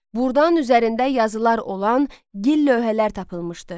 Burdan üzərində yazılar olan gil lövhələr tapılmışdı.